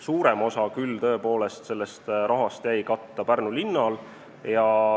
Suurem osa sellest rahast jäi küll tõesti katta Pärnu linnal.